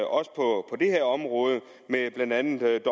også på det her område med blandt andet